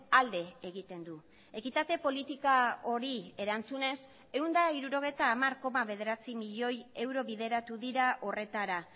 alde egiten du ekitate politika hori erantzunez ehun eta hirurogeita hamar koma bederatzi milioi euro bideratu dira horretara